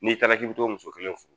N'i taara k'i bi t'o muso kelen furu